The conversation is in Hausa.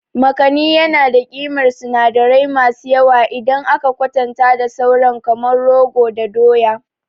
Makani yana da ƙimar sinadirai masu yawa idan aka kwatanta da sauran kamar rogo da doya.